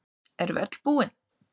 Erum við öllu búin